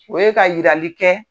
O ye ka yirali kɛ.